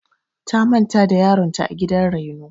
Ta manta da yaron ta a gidan raino.